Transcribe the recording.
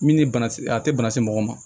Min ni bana a tɛ bana se mɔgɔ ma